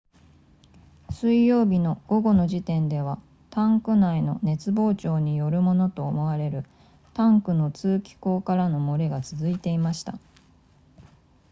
水曜日の午後の時点ではタンク内の熱膨張によるものと思われるタンクの通気孔からの漏れが続いていました